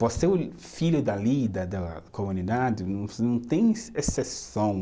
Por ser o filho da da comunidade, você não tem exceção.